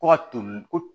Kɔ ka to